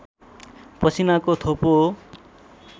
पसिनाको थोपो हो